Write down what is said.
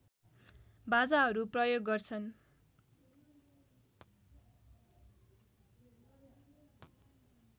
बाजाहरू प्रयोग गर्छन्